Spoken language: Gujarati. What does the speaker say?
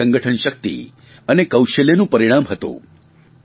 તેમની સંગઠન શકિત અને કૌશલ્યનું પરિણામ હતું